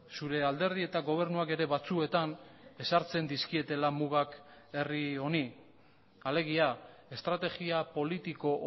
zure alderdi eta gobernuak ere batzuetan ezartzen dizkietela mugak herri honi alegia estrategia politiko